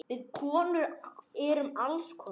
Við konur erum alls konar.